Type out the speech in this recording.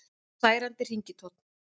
Særandi hringitónn